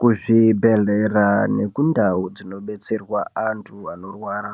Kuzvi bhehlera neku ndau dzino detserwa antu anorwara